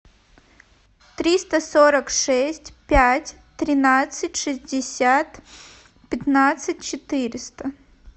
триста сорок шесть пять тринадцать шестьдесят пятнадцать четыреста